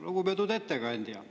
Lugupeetud ettekandja!